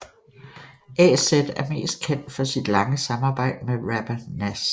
AZ er mest kendt for sit lange samarbejde med rapper Nas